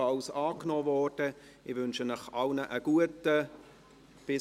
Ich wünsche allen einen guten Appetit;